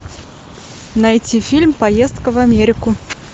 найти фильм поездка в америку